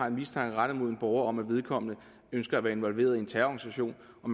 en mistanke rettet mod en borger om at vedkommende ønsker at være involveret i en terrororganisation og